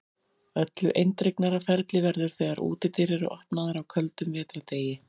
Öllu eindregnara ferli verður þegar útidyr eru opnaðar á köldum vetrardegi.